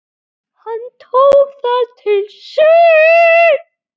Hann tók það til sín